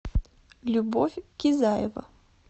любовь кизаева